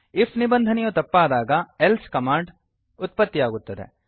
IF ನಿಬಂಧನೆಯು ತಪ್ಪಾದಾಗ else command ಉತ್ಪತ್ತಿಯಾಗುತ್ತದೆ